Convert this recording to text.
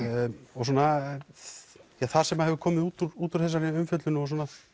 og svona það sem hefur komið út úr út úr þessari umfjöllun og